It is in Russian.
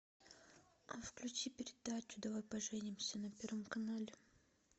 включи передачу давай поженимся на первом канале